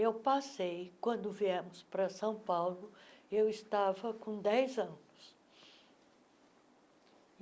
Eu passei, quando viemos para São Paulo, eu estava com dez anos.